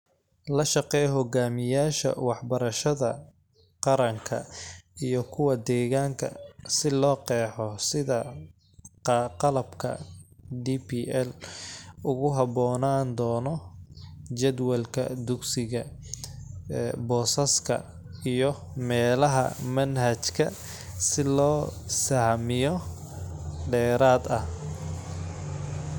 La shaqee hogaamiyayaasha waxbarashada qaranka iyo kuwa deegaanka si loo qeexo sida qalabka DPL ugu haboonaan doono jadwalka dugsiga, boosaska, iyo meelaha manhajka si loo sahamiyo dheeraad ah